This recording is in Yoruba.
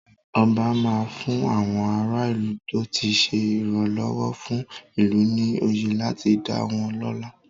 Ọba máa fún àwọn ara ìlú tó ti ṣe ìrànlọ́wọ́ fún ìlú ní oyè láti dá wọ́n lọ́lá.